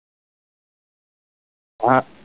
હા